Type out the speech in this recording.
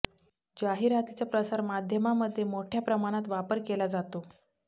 जाहिरातीचा प्रसार माध्यमामध्ये मोठय़ा प्रमाणात वापर केला जातो